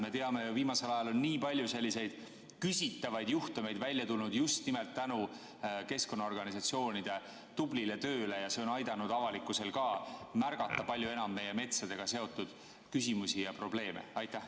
Me teame ju, et viimasel ajal on nii palju selliseid küsitavaid juhtumeid välja tulnud just nimelt tänu keskkonnaorganisatsioonide tublile tööle ja see on aidanud avalikkusel ka märgata palju enam meie metsadega seotud küsimusi ja probleeme.